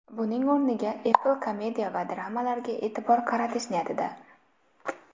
Buning o‘rniga Apple komediya va dramalarga e’tibor qaratish niyatida.